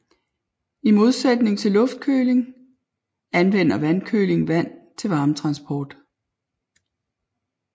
I modsætning til luftkøling anvender vandkøling vand til varmetransport